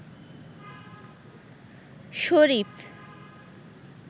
শরীফ